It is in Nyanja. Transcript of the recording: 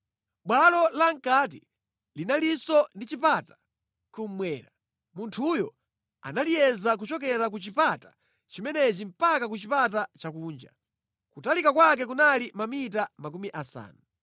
Bwalo lamʼkati linalinso ndi chipata kummwera. Munthuyo analiyeza kuchokera ku chipata chimenechi mpaka ku chipata chakunja. Kutalika kwake kunali mamita makumi asanu.